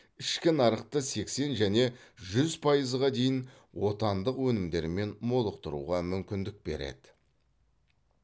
ішкі нарықты сексен және жүз пайызға дейін отандық өнімдермен молықтыруға мүмкіндік береді